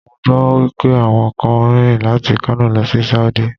Mo gbọ́ wípé àwọn kan rìn láti Kano lọ sí Sáúdí.